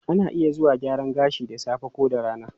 Ana iya zuwa gyaran gashi da safe ko da rana.